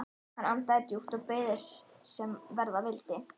Hann andaði djúpt og beið þess sem verða vildi.